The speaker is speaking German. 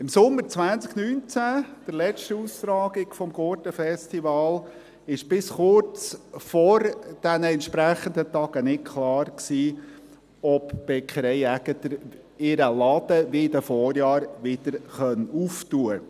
Im Sommer 2019, an der letzten Austragung des Gurten-Festivals, war bis kurz vor den entsprechenden Tagen nicht klar, ob die Bäckerei Aegerter wie in den Vorjahren wieder öffnen kann.